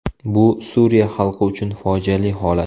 Bu Suriya xalqi uchun fojiali holat”.